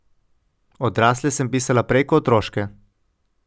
Odrasle sem pisala prej kot otroške.